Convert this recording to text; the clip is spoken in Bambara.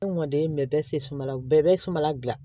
Ne mɔden bɛɛ bɛ se sumala o bɛɛ bɛ sumala dilan